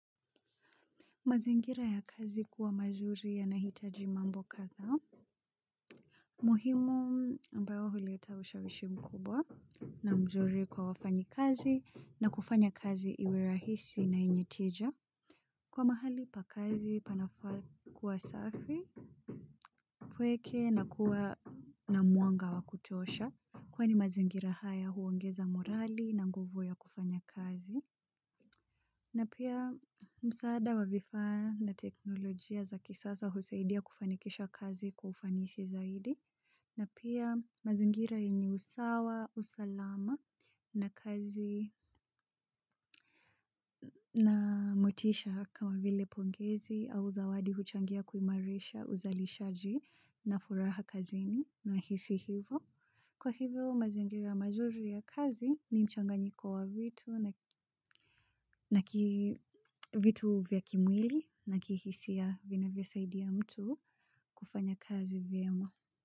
Mazingira ya kazi kuwa mazuri ya nahitaji mambo kadhaa. Muhimu ambayo huleta wusha wishi mkubwa na mzuri kwa wafanyi kazi na kufanya kazi iwe rahisi na yenye tija. Kwa mahali pa kazi panafaa kuwa safi, upweke na kuwa na mwanga wa kutosha. Kwani mazingira haya huongeza morali na nguvu ya kufanya kazi. Na pia msaada wa vifaa na teknolojia za kisasa husaidia kufanikisha kazi kwa ufanisi zaidi. Na pia mazingira yenye usawa, usalama na kazi na motisha kama vile pongezi au zawadi huchangia kuimarisha uzalishaji na furaha kazini nahisi hivo. Kwa hivyo mazingira mazuri ya kazi ni mchanganyiko wa vitu na vitu vya kimwili na kihisia vinavyo saidia mtu kufanya kazi vyemwa.